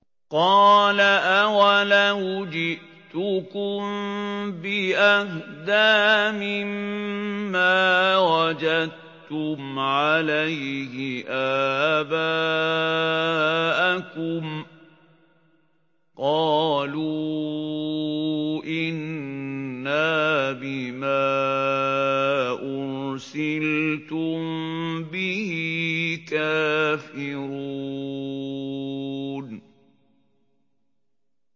۞ قَالَ أَوَلَوْ جِئْتُكُم بِأَهْدَىٰ مِمَّا وَجَدتُّمْ عَلَيْهِ آبَاءَكُمْ ۖ قَالُوا إِنَّا بِمَا أُرْسِلْتُم بِهِ كَافِرُونَ